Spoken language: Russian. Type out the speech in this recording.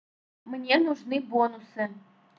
мне нужны бонусы